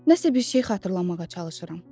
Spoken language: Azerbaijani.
Nəsə bir şey xatırlamağa çalışıram.